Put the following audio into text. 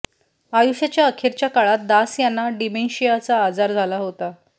आयुष्याच्या अखेरच्या काळात दास यांना डिमेंशियाचा आजार झाला होता